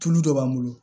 Tulu dɔ b'an bolo